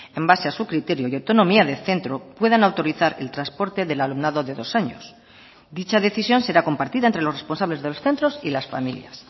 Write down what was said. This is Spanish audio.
en base a su criterio y autonomía de centro puedan autorizar el transporte del alumnado de dos años dicha decisión será compartida entre los responsables de los centros y las familias